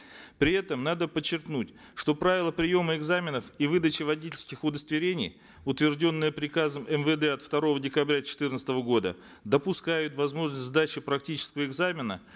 при этом надо подчеркнуть что правила приема экзаменов и выдачи водительских удостоверений утвержденные приказом мвд от второго декабря четырнадцатого года допускают возможность сдачи практического экзамена